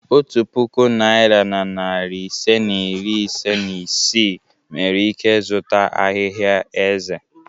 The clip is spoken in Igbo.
Otu puku naịra na narị ise na iri ise na isii nwere ike zụta ahịhịa eze.